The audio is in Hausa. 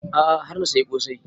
A'a har na saya ƙosai